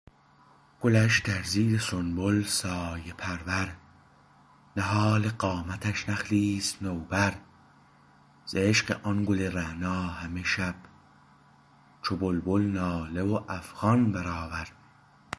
گلش در زیر سنبل سایه پرور نهال قامتش نخلی است نوبر ز عشق آن گل رعنا همه شب چو بلبل ناله و افغان برآور